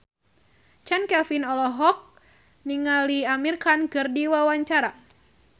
Chand Kelvin olohok ningali Amir Khan keur diwawancara